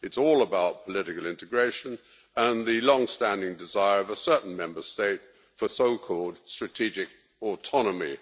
It's all about political integration and the long standing desire of a certain Member State for so called strategic autonomy.